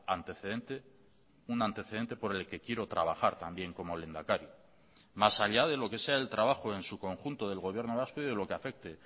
antecedente un antecedente por el que quiero trabajar también como lehendakari más allá de lo que sea el trabajo en su conjunto del gobierno vasco y de lo que afecte